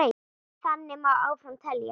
Þannig má áfram telja.